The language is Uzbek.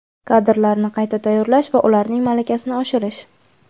Kadrlarni qayta tayyorlash va ularning malakasini oshirish;.